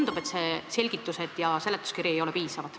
Mulle tundub, et seletuskirja selgitused ei ole piisavad.